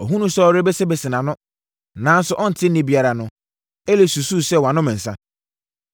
Ɔhunuu sɛ ɔrebesebese nʼano, nanso ɔnte nne biara no, Eli susuu sɛ wanom nsã.